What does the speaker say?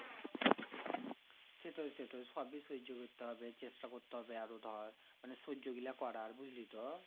সেটাই সেটাই সবই সেই সহ্য করতে হবে। চেষ্টা করতে হবে তবে আরো ধর। মানে সহ্যগুলো করার বুঝলি তো?